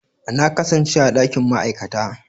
Na kasance a dakin ma'aikata.